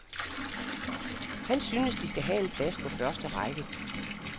Han syntes, de skal have en plads på første række.